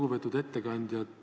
Lugupeetud ettekandja!